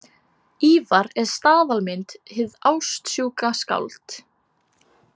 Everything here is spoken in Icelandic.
Ívar er staðalmynd, hið ástsjúka skáld.